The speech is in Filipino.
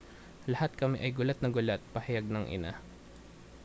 lahat kami ay gulat na gulat pahayag ng ina